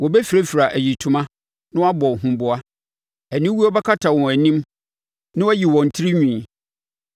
Wɔbɛfirafira ayitoma na wɔabɔ huboa. Aniwuo bɛkata wɔn anim na wɔayi wɔn tirinwi.